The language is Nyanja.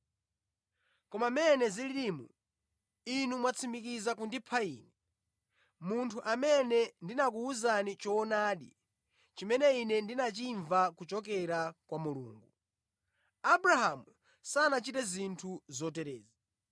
Koma mmene zililimu, inu mwatsimikiza kundipha Ine, munthu amene ndinakuwuzani choonadi chimene Ine ndinachimva kuchokera kwa Mulungu. Abrahamu sanachite zinthu zoterezi.